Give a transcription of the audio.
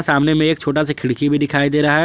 सामने में एक छोटा सा खिड़की भी दिखाई दे रहा है।